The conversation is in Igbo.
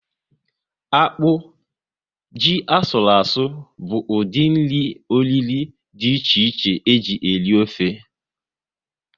Akpụ, ji asụru asụ bụ ụdị nri oriro dị iche iche eji eri ofe